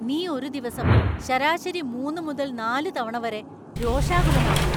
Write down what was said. നീ ഒരു ദിവസം ശരാശരി മൂന്ന് മുതൽ നാല് തവണ വരെ രോഷാകുലനാവുന്നു.